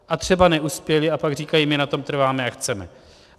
A třeba neuspěli a pak říkají: my na tom trváme a chceme.